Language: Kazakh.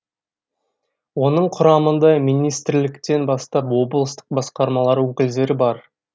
оның құрамында министрліктен бастап облыстық басқармалар өкілдері бар